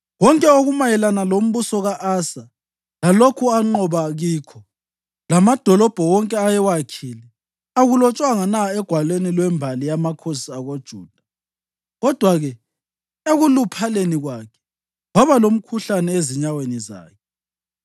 Konke okumayelana lombuso ka-Asa, lalokho anqoba kikho, lamadolobho wonke ayewakhile, akulotshwanga na egwalweni lwembali yamakhosi akoJuda? Kodwa-ke, ekuluphaleni kwakhe, waba lomkhuhlane ezinyaweni zakhe.